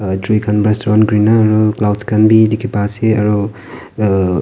gaitri khan para son kori na cloud khan bhi dekhi pai ase aru aa.